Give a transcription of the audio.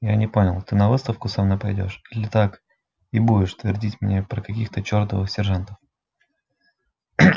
я не понял ты на выставку со мной пойдёшь или так и будешь твердить мне про каких-то чёртовых сержантов